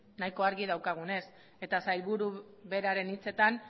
nahiko argi daukagunez eta sailburu beraren hitzetan